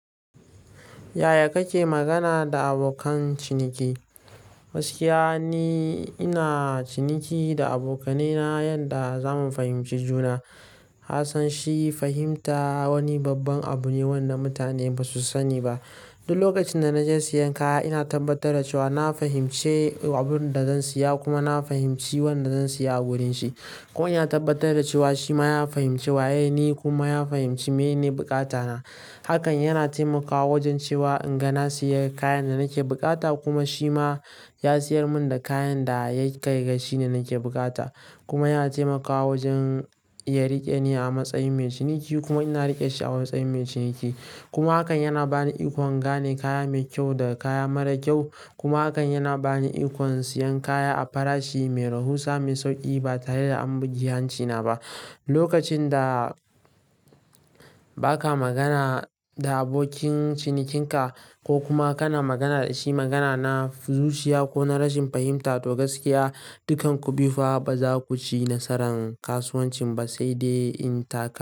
Yaya kake magana da abokan ciniki? Gaskiya ni, ina ciniki da abokanai na yanda zamu fahimci juna. Kassan shi fahimta wani babban abu ne wanda mutane basu sani ba. Duk lokacin da na je siyan kaya, ina tabbatar da cewa na fahimci abin da zan siya kuma na fahimci wanda zan siya a wurin shi. Ko ina tabbatar da cewa shi ma ya fahimci waye ni kuma ya fahimci menene bukata na. Hakan yana taimakawa wajen cewa in ga na siya kayan da nake bukata kuma shi ma ya siyar mun da kayan da ya kai ga shi ne nake bukata. Kuma yana taimakawa wajen ya rike ni a matsayin mai ciniki kuma ina rike shi a matsayin mai ciniki. Kuma hakan yana bani ikon gane kaya mai kyau da kaya mara kyau. Kuma hakan yana bani ikon siyan kaya a farashi mai rahusa, mai sauki ba tare da an bugi hanci na ba. Lokacin da ba ka magana da abokin cinikinka ko kuma kana magana da shi magana na fuzuciya ko na rashin fahimta, to gaskiya, dukkan ku biyu fa ba za ku ci nasaran kasuwancin ba, sai dai in taka.